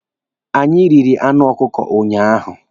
Anyị riri anụ ọkụkọ unyaahụ.